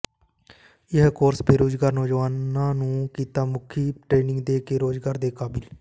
ਇਹ ਕੋਰਸ ਬੇਰੁਜ਼ਗਾਰ ਨੌਜਵਾਨਾਂ ਨੂੰ ਕਿੱਤਾ ਮੁਖੀ ਟ੍ਰੇਨਿੰਗ ਦੇ ਕੇ ਰੋਜ਼ਗਾਰ ਦੇ ਕਾਬਿਲ